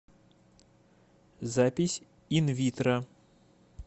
запись инвитро